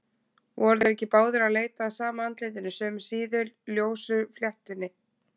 Voru þeir ekki báðir að leita að sama andlitinu, sömu síðu, ljósu fléttunni?